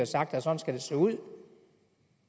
sagt at sådan skal det se ud